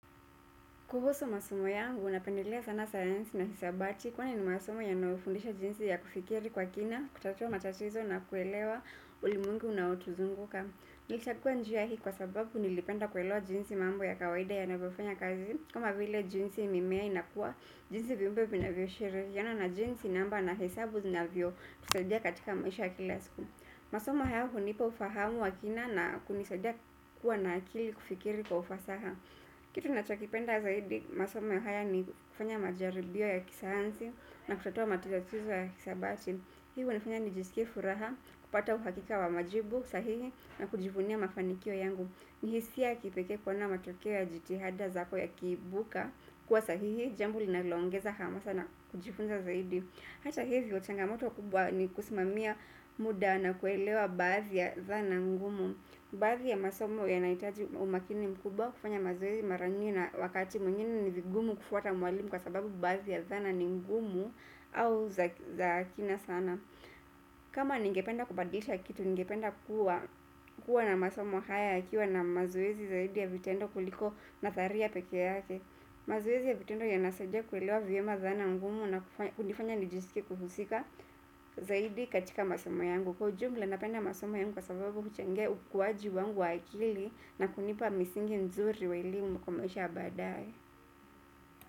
Kuhusu masomo yangu, napendelea sana sayansi na hisabati kwani ni masomo yanayofundisha jinsi ya kufikiri kwa kina kutatua matatizo na kuelewa ulimwengu unaotuzunguka. Nilichagua njia hii kwa sababu nilipenda kuelewa jinsi mambo ya kawaida yanavyofanya kazi kama vile jinsi mimea inakua jinsi viumbe vinavyoshiriana na jinsi namba na hesabu zinavyotusadia katika maisha ya kila siku. Masomo hayo hunipa ufahamu wa kina na kunisadia kuwa na akili kufikiri kwa ufasaha. Kitu ninachokipenda zaidi, masomo ya haya ni kufanya majaribio ya kisayansi na kutatua matatizo ya hisabati. Hii hunifanya nijisikie furaha kupata uhakika wa majibu sahihi na kujivunia mafanikio yangu. Nihisia ya kipekee kuona matokeo ya jitihada zako yakiibuka kuwa sahihi, jambo linaloongeza hamasa na kujifunza zaidi. Hata hivyo changamoto kubwa ni kusimamia muda na kuelewa baadhi ya dhana ngumu. Baadhi ya masomo yanahitaji umakini mkubwa kufanya mazoezi mara nyingi na wakati mwingine ni vigumu kufuata mwalimu kwa sababu baadhi ya dhana ni ngumu au za kina sana. Kama ningependa kubadilisha kitu ningependa kuwa na masomo haya yakiwa na mazoezi zaidi ya vitendo kuliko nadharia pekee yake. Mazoezi ya vitendo yanasaidia kuelewa vyema dhana ngumu na kunifanya nijisike kuhusika zaidi katika masomo yangu. Kwa ujumla napenda masomo yangu kwa sababu huchangia ukuaji wangu wa akili na kunipa misingi nzuri wa elimu kwa maisha ya baadaye.